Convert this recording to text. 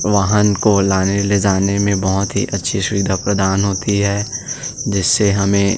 वाहन को लाने ले जाने में बहुत ही अच्छी सुविधा प्रदान होती है जिससे हमें --